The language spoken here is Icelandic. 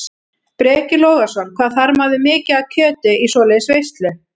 Breki Logason: Hvað þarf maður mikið af kjöti í svoleiðis veislu?